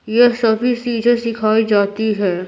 यह सभी चीजें सिखाई जाती है।